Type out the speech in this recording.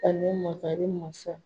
Ani makari masa